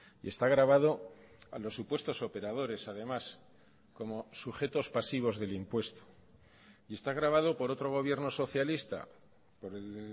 y está gravado a los supuestos operadores además como sujetos pasivos del impuesto y está gravado por otro gobierno socialista por el